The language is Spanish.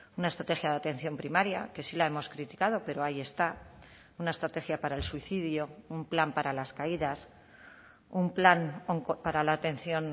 una estrategia de atención primaria que sí la hemos criticado pero ahí está una estrategia para el suicidio un plan para las caídas un plan para la atención